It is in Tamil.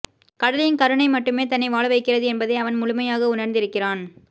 கடலின் கருணைம மட்டுமே தன்னை வாழவைக்கிறது என்பதை அவன் முழுமையாக உணர்ந்திருக்கிறான்